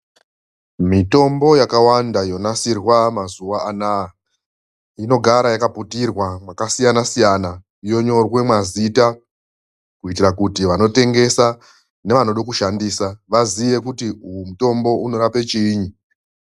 Mitombo yakawanda yonasirwa mazuwa anaya, inogara yakaputirwa mwakasiyana-siyana. Yonyorwa mazita kuitira kuti vanotengesa nevanoda kushandisa, vaziye kuti uyu mutombo unorape chiinyi.